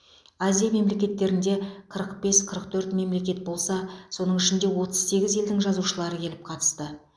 азия мемлекеттерінде қырық бес қырық төрт мемлекет болса соның ішінде отыз сегіз елдің жазушылары келіп қатысты